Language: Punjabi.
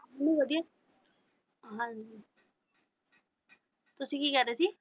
ਨਹੀਂ ਵਧੀਆ ਹਾਂਜੀ ਤੁਸੀਂ ਕੀ ਕਹਿ ਰਹੇ ਸੀ।